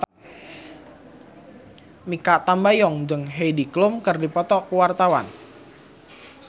Mikha Tambayong jeung Heidi Klum keur dipoto ku wartawan